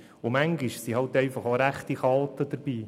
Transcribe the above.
Manchmal sind einfach auch rechte Chaoten dabei.